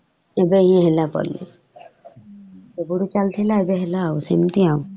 ଏବେ ହିଁ ହେଲା କୁଆଡେ । କେବେଠୁ ଚାଲିଥିଲା ଏବେ ହେଲା ଆଉ ସେମିତି ଆଉ ।